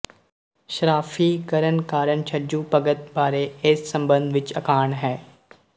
ਸਰਾਫ਼ੀ ਕਰਨ ਕਾਰਨ ਛੱਜੂ ਭਗਤ ਬਾਰੇ ਏਸ ਸੰਬੰਧ ਵਿੱਚ ਅਖਾਣ ਹੈ